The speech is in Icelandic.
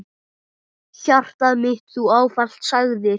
Hjartað mitt Þú ávallt sagðir.